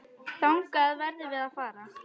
Þangað verðum við að fara.